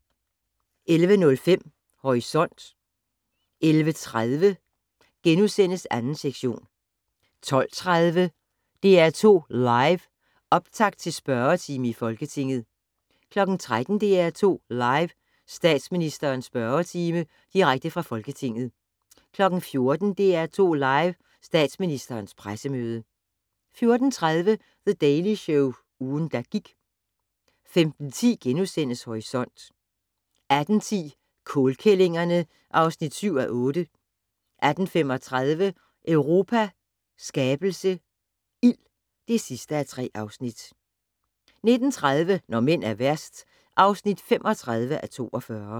11:05: Horisont 11:30: 2. sektion * 12:30: DR2 Live: Optakt til spørgetime i Folketinget 13:00: DR2 Live: Statsministerens spørgetime - direkte fra Folketinget 14:00: DR2 Live: Statsministerens pressemøde 14:30: The Daily Show - ugen, der gik 15:10: Horisont * 18:10: Kålkællingerne (7:8) 18:35: Europa skabelse - ild (3:3) 19:30: Når mænd er værst (35:42)